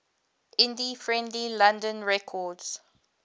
indie friendly london records